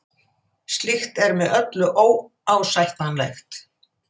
Slíkt er með öllu óásættanlegt